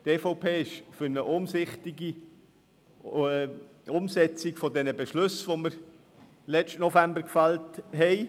Die EVP ist für eine umsichtige Umsetzung der Beschlüsse, die wir letzten November gefällt haben.